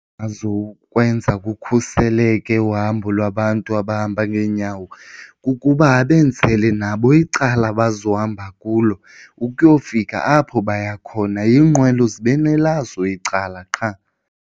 Azokwenza kukhuseleke uhambo lwabantu abahamba ngeenyawo kukuba abenzele nabo icala abazohamba kulo ukuyofika apho baya khona, iinqwelo zibe nelazo icala qha.